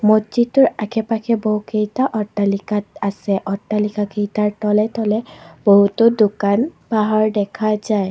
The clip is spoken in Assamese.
মছজিদটোৰ আশে-পাশে বহুকেইটা অট্টালিকাত আছে অট্টালিকাকেইটাৰ তলে তলে বহুতো দোকান-পাহাৰ দেখা যায়।